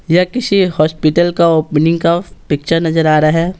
यह किसी हॉस्पिटल का ओपनिंग का पिक्चर नजर आ रहा है।